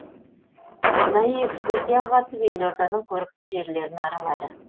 арнайы экскурсияға қатысып елорданың көрікті жерлерін аралады